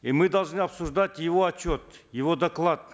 и мы должны обсуждать его отчет его доклад